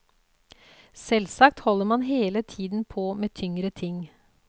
Selvsagt holder man hele tiden på med tyngre ting.